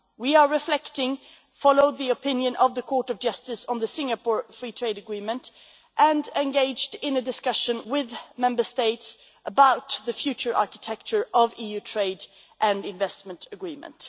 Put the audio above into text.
We are reflecting, following the opinion of the Court of Justice on the Singapore Free Trade Agreement, and we are engaged in a discussion with Member States about the future architecture of the EU trade and investment agreement.